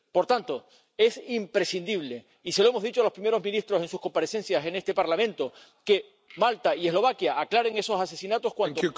Por tanto, es imprescindible —y se lo hemos dicho a los primeros ministros en sus comparecencias en este Parlamento— que Malta y Eslovaquia aclaren esos asesinatos cuanto antes.